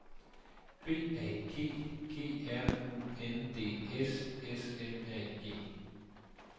B A G G R U N D S S M A G